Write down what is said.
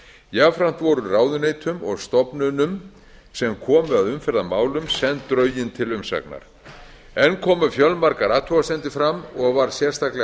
jafnframt voru ráðuneytum og stofnunum sem komu að umferðarmálum send drögin til umsagnar enn komu fjölmargar athugasemdir fram og var sérstaklega